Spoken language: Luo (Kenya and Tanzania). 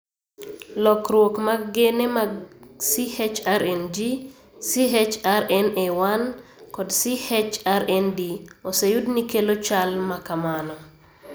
Lokruok mag gene mag CHRNG, CHRNA1, kod CHRND oseyud ni kelo chal ma kamano.